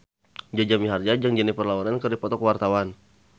Jaja Mihardja jeung Jennifer Lawrence keur dipoto ku wartawan